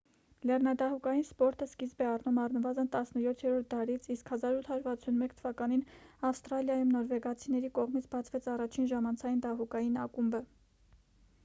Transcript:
լեռնադահուկային սպորտը սկիզբ է առնում առնվազն 17-րդ դարից իսկ 1861 թ ավստրալիայում նորվեգացիների կողմից բացվեց առաջին ժամանցային դահուկային ակումբը